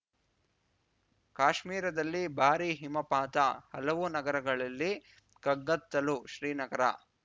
ಕಾಶ್ಮೀರದಲ್ಲಿ ಭಾರೀ ಹಿಮಪಾತ ಹಲವು ನಗರಗಳಲ್ಲಿ ಕಗ್ಗತ್ತಲು ಶ್ರೀನಗರ